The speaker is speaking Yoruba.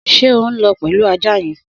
Sé o n lõ pelu àjá yen?